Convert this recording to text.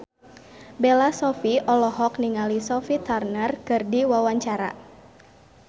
Bella Shofie olohok ningali Sophie Turner keur diwawancara